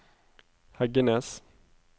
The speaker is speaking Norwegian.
Heggenes